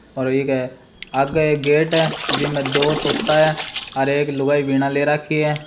और इके आगे एक गेट है जिमे दो तोता है और एक लुगाई बीणा ले राखी है।